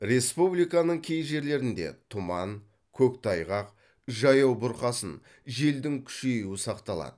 республиканың кей жерлерінде тұман көктайғақ жаяу бұрқасын желдің күшеюі сақталады